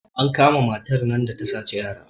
an kama matar nan da ta saci yara